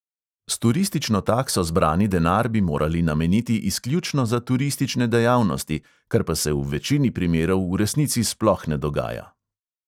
S turistično takso zbrani denar bi morali nameniti izključno za turistične dejavnosti, kar pa se v večini primerov v resnici sploh ne dogaja.